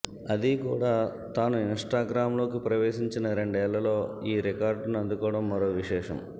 అది కూడా తను ఇన్స్టాగ్రామ్లోకి ప్రవేశించిన రెండేళ్లలో ఈ రికార్డును అందుకోవడం మరో విశేషం